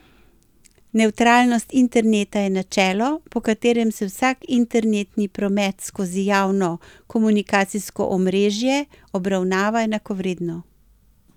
Nevtralnost interneta je načelo, po katerem se vsak internetni promet skozi javno komunikacijsko omrežje obravnava enakovredno.